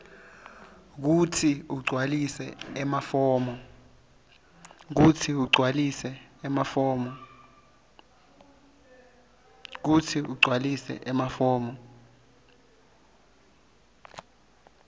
kutsi ugcwalise emafomu